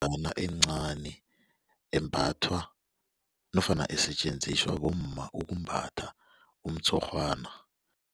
encani embathwa nofana esetjenziswa bomma ukumbatha umtshurhwana.